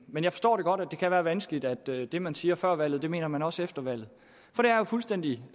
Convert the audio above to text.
men jeg forstår godt at det kan være vanskeligt at det man siger før valget mener man også efter valget for det er jo fuldstændig